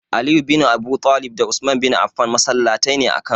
Aliyu bin Abudalib da Usman bin Afan masallataine a kano.